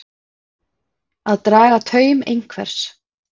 Að draga taum einhvers